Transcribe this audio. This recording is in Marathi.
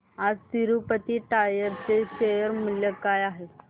आज तिरूपती टायर्स चे शेअर मूल्य काय आहे